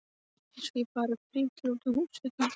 Eins og ég fari að príla utan á húsveggjum!